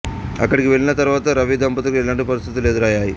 అక్కడికి వెళ్ళిన తరువాత రవి దంపతులకు ఎలాంటి పరిస్థితులు ఎదురయ్యాయి